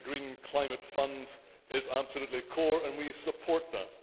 The Green Climate Fund is absolutely core and we support that.